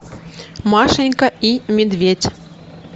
машенька и медведь